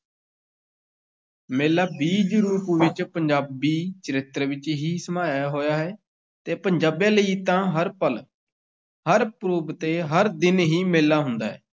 ਮੇਲਾ ਬੀਜ-ਰੂਪ ਵਿੱਚ ਪੰਜਾਬੀ ਚਰਿੱਤਰ ਵਿੱਚ ਹੀ ਸਮਾਇਆ ਹੋਇਆ ਹੈ ਤੇ ਪੰਜਾਬੀਆਂ ਲਈ ਤਾਂ ਹਰ ਪਲ, ਹਰ ਪੁਰਬ ਤੇ ਹਰ ਦਿਨ ਹੀ ਮੇਲਾ ਹੁੰਦਾ ਹੈ।